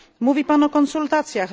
Mówi Pan o konsultacjach.